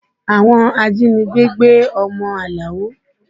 Àwọn ajínigbé gbé ọmọ Alao